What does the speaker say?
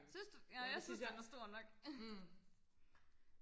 synes du nej jeg synes den er stor nok